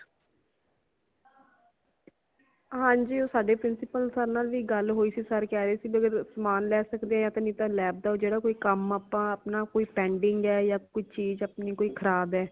ਹਾਂਜੀ ਉਹ ਸਾਡੇ principal sir ਨਾਲ ਵੀ ਗੱਲ ਹੋਇ ਸੀ sir ਕਹਰੈ ਸੀ ਸਮਾਨ ਲੈ ਸਕਦੇ ਨਹੀਂ ਤਾ lab ਦਾ ਕਾਂਮ ਅਪਣਾ ਕੋਈ pending ਹੈ ਯਾ ਕੋਈ ਚੀਜ ਆਪਣੀ ਖਰਾਬ ਹੈ